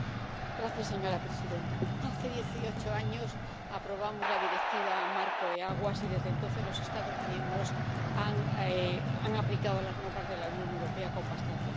Señora presidenta, hace dieciocho años aprobamos la Directiva Marco del agua y, desde entonces, los Estados miembros han aplicado las normas de la Unión Europea con bastante acierto.